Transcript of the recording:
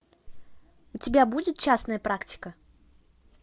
у тебя будет частная практика